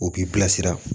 O k'i bilasira